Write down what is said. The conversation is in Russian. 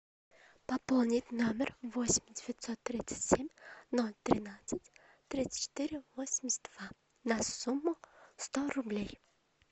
пополнить номер восемь девятьсот тридцать семь ноль тринадцать тридцать четыре восемьдесят два на сумму сто рублей